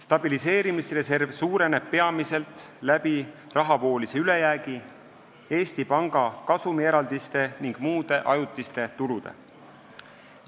Stabiliseerimisreserv suureneb peamiselt rahavoolise ülejäägi, Eesti Panga kasumieraldiste ning muude ajutiste tulude abil.